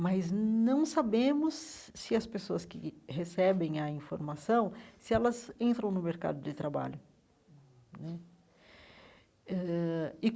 mas não sabemos se as pessoas que recebem a informação se elas entram no mercado de trabalho né ãh e.